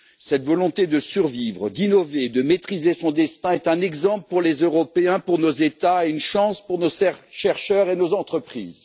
Cette volonté de survivre, d'innover et de maîtriser son destin est un exemple pour les Européens, pour nos États et une chance pour nos chercheurs et nos entreprises.